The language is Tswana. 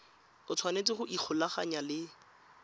o tshwanetse go ikgolaganya le